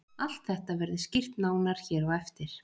Allt þetta verður skýrt nánar hér á eftir.